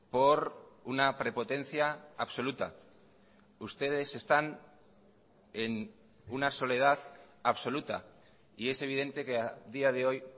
por una prepotencia absoluta ustedes están en una soledad absoluta y es evidente que a día de hoy